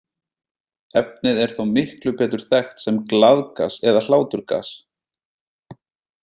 Efnið er þó miklu betur þekkt sem glaðgas eða hláturgas.